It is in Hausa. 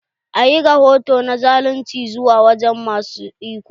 A ƴi rahoto na zalunci zuwa wajen ma su iko.